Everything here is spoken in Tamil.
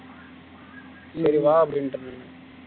இல்ல வா அப்படின்டன்